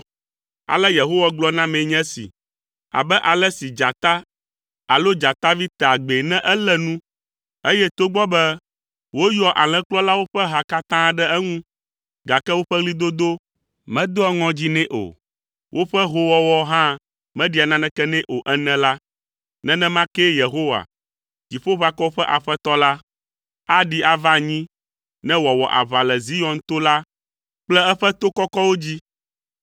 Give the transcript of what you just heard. Ale Yehowa gblɔ nam nye esi, “Abe ale si dzata alo dzatavi tea gbee ne elé nu, eye togbɔ be woyɔa alẽkplɔlawo ƒe ha katã ɖe eŋu, gake woƒe ɣlidodo medoa ŋɔdzi nɛ o, woƒe hoowɔwɔ hã meɖia naneke nɛ o ene la, nenema kee Yehowa, Dziƒoʋakɔwo ƒe Aƒetɔ la, aɖi va anyi ne wòawɔ aʋa le Zion to la kple eƒe to kɔkɔwo dzi.